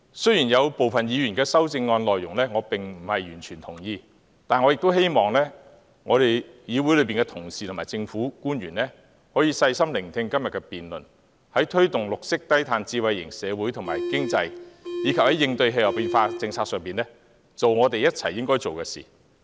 雖然我並不完全同意部分議員的修正案，但我亦希望議會同事及政府官員可以細心聆聽今天的辯論，在推動綠色低碳智慧型社會及經濟，以及在應對氣候變化政策上，一起去做所應做的事。